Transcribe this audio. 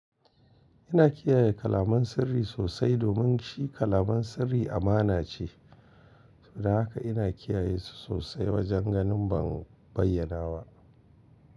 Ina kiyaye kalaman sirri sosai domin shi kalaman sirri amana ce. To don haka ina kiyaye su sosai wajen ganin ban bayyanawa.